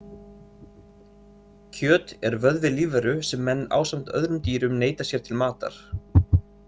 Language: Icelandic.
Kjöt er vöðvi lífveru sem menn ásamt öðrum dýrum neyta sér til matar.